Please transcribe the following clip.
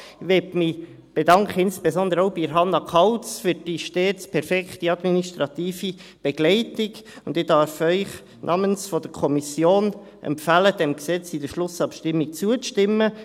Ich möchte mich insbesondere auch bei Hannah Kauz für die stets perfekte administrative Begleitung bedanken, und ich darf Ihnen namens der Kommission empfehlen, diesem Gesetz in der Schlussabstimmung zuzustimmen.